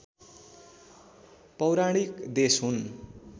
पौराणिक देश हुन्